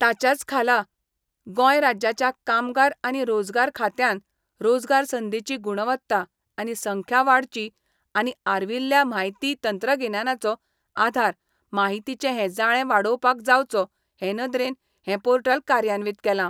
ताच्याच खाला गोंय राज्याच्या कामगार आनी रोजगार खात्यांन रोजगार संदींची गुणवत्ता आनी संख्या वाडची आनी आर्विल्ल्या म्हायती तंत्रगिन्यानाचो आधार माहितीचें हें जाळें वाडोवपाक जावचो हे नदरेन हें पोर्टल कार्यान्वीत केलां.